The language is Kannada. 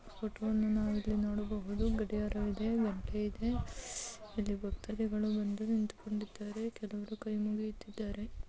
ಫೋಟೋವನ್ನು ನಾವು ಇಲ್ಲಿ ನೋಡಬಹುದು ಗಡಿಯಾರ ಇದೆ ಗಂಟೆ ಇದೆ ಇಲ್ಲಿ ಭಕ್ತಾದಿಗಳು ಬಂದು ನಿಂತುಕೊಂಡಿದ್ದಾರೆ ಕೆಲವರು ಕೈ ಮುಗಿಯುತ್ತಿದ್ದಾರೆ.